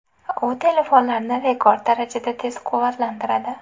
U telefonlarni rekord darajada tez quvvatlantiradi.